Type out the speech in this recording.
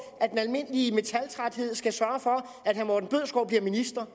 at den almindelige metaltræthed skal sørge for at herre morten bødskov bliver minister